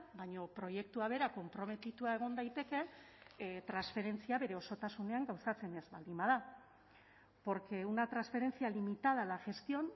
baina proiektua bera konprometitua egon daitekeen transferentzia bere osotasunean gauzatzen ez baldin bada porque una transferencia limitada a la gestión